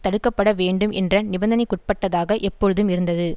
தடுக்க பட வேண்டும் என்ற நிபந்தனைக்குட்பட்டதாக எப்பொழுதும் இருந்தது